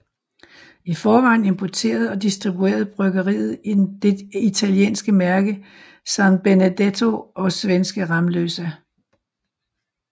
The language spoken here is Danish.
I forvejen importerede og distribuerede bryggeriet det italienske mærke San Benedetto og svenske Ramlösa